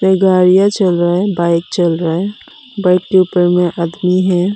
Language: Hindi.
गाड़िया चल रहा है बाइक चल रहा है बाइक के ऊपर में आदमी है।